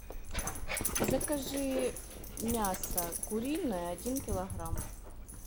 закажи мясо куриное один килограмм